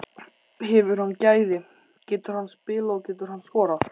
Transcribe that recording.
Hefur hann gæði, getur hann spilað og getur hann skorað?